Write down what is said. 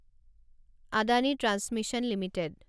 Adani transmission limited